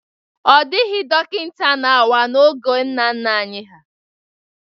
Ọ dịghị dọkịta na-awa n'oge nna nna anyị